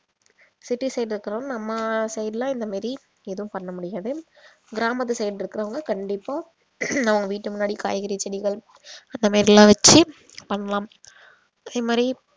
city side ல இருக்குறவங்க நம்ம side லாம் இந்த மாதிரி எதுவும் பண்ண முடியாது கிராமத்து side இருக்கறவங்க கண்டிப்பா அவங்க வீட்டு முன்னாடி காய்கறி செடிகள் அந்த மாதிரி எல்லாம் வச்சி பண்ணலாம் அதே மாதிரி